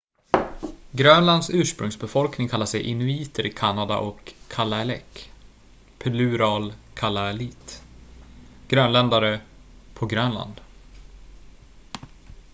grönlands ursprungsbefolkning kallar sig inuiter i kanada och kalaalleq plural kalaallit grönländare på grönland